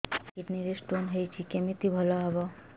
ସାର kidney ରେ stone ହେଇଛି କମିତି ଭଲ ହେବ